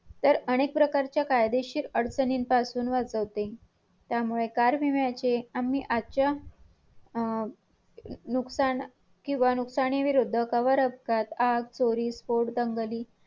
काम करतात काय काम करतात आपल्याला माहिती नाही असे बोलतात आम्ही येलवाड मध्ये काम करतो एवढे सांगितले फक्त एवढं नाही माहिती आत मध्ये कोण जाऊन बघितले काय काम करतात काय नाही .